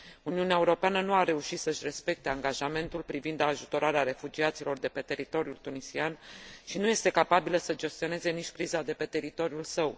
Uniunea Europeană nu a reușit să și respecte angajamentul privind ajutorarea refugiaților de pe teritoriul tunisian și nu este capabilă să gestioneze nici criza de pe teritoriul său.